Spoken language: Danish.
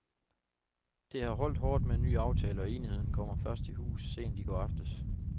Det har holdt hårdt med en ny aftale, og enigheden kom først i hus sent i går aftes.